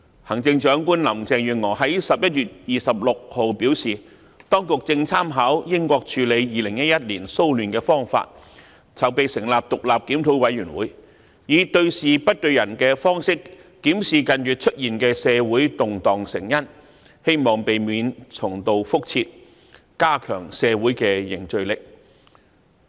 行政長官林鄭月娥在11月26日表示，當局正參考英國處理2011年騷亂的方法，籌備成立獨立檢討委員會，以對事不對人的方式，檢視近月出現的社會動盪成因，希望避免重蹈覆轍，加強社會凝聚力。